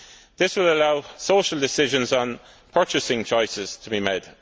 This will allow social decisions on purchasing choices to be made.